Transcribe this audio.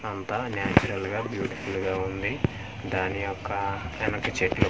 అంతా న్యాచురల్ గా బ్యూటిఫుల్ గా ఉంది దాని యొక్క వెనక చెట్లు--